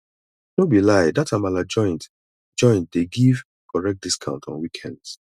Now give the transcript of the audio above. no be lie dat amala joint joint dey give correct discount on weekends